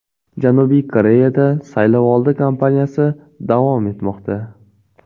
Janubiy Koreyada saylovoldi kompaniyasi davom etmoqda.